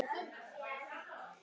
Hvernig tölum við saman?